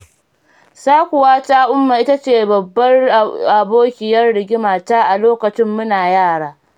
Sakuwata umma ita ce babbar abokiyar rigimata a lokacin muna yara.